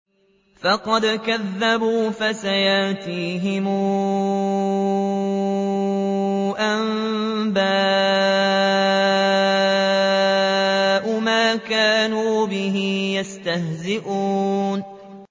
فَقَدْ كَذَّبُوا فَسَيَأْتِيهِمْ أَنبَاءُ مَا كَانُوا بِهِ يَسْتَهْزِئُونَ